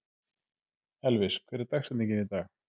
Elvis, hver er dagsetningin í dag?